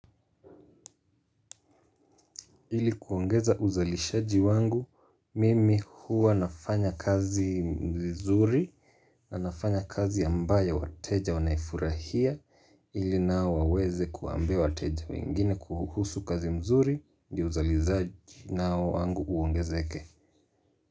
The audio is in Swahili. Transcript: Ili kuongeza uzalishaji wangu, mimi huwa nafanya kazi vizuri na nafanya kazi ambayo wateja wanaifurahia. Ili nao waweze kuambia wateja wengine kuhusu kazi mzuri, ndio uzalishaji nao wangu uongezeke.